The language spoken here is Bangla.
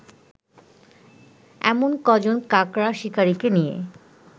এমন কজন কাকড়া শিকারিকে নিয়ে